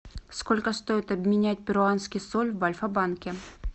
сколько стоит обменять перуанский соль в альфа банке